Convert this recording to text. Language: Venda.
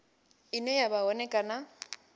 ine ya vha hone kana